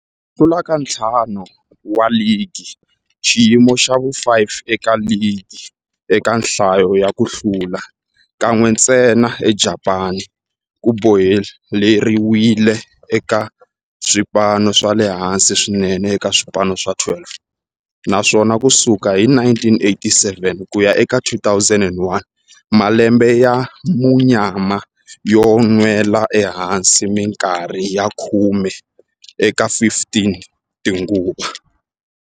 Ku hlula ka ntlhanu wa ligi, xiyimo xa vu-5 eka ligi eka nhlayo ya ku hlula, kan'we ntsena eJapani, ku boheleriwile eka swipano swa le hansi swinene eka swipano swa 12, naswona ku sukela hi 1987 ku ya eka 2001, malembe ya munyama yo nwela ehansi minkarhi ya khume eka 15 tinguva.